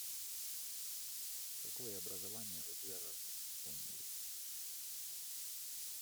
какое образование у джерард онилл